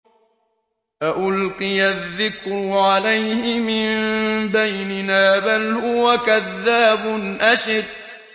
أَأُلْقِيَ الذِّكْرُ عَلَيْهِ مِن بَيْنِنَا بَلْ هُوَ كَذَّابٌ أَشِرٌ